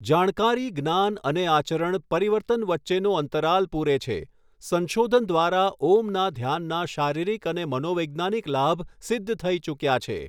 જાણકારી જ્ઞાન અને આચરણ પરીવર્તન વચ્ચેનો અંતરાલ પૂરે છે સંશોધન દ્વારા ઓમના ધ્યાનના શારીરિક અને મનોવૈજ્ઞાનિક લાભ સિદ્ધ થઈ ચુક્યા છે.